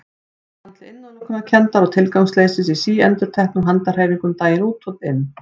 Ég fann til innilokunarkenndar og tilgangsleysis í síendurteknum handahreyfingum daginn út og inn.